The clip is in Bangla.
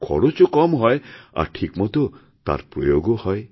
খরচও কম হয় আরঠিকমত তার প্রয়োগও হয়